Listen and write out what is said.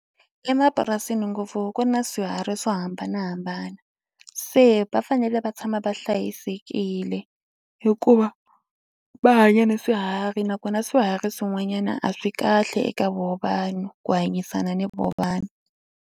Emapurasini ngopfu ku na swiharhi swo hambanahambana se va fanele va tshama va hlayisekile hikuva va hanya ni swiharhi nakona swiharhi swin'wanyana a swi kahle eka vona vanhu ku hanyisana ni vona vanhu.